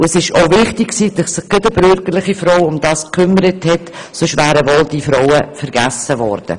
Und es war auch wichtig, dass sich gerade eine bürgerliche Frau darum gekümmert hat, denn sonst wären diese Frauen wohl vergessen worden.